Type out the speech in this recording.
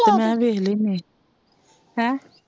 ਮੈ ਵੇਖ ਲੈਨੀ ਹੈ,